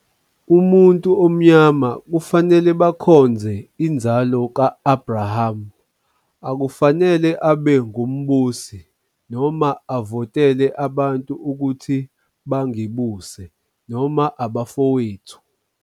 Umuntu omnyama kufanele bakhonze inzalo ka-Abrahama, akufanele abe ngumbusi, noma avotele abantu ukuthi bangibuse noma abafowethu.